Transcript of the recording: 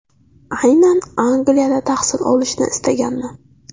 Aynan Angliyada tahsil olishni istaganman.